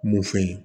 Mun fɛ yen